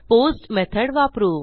post method वापरू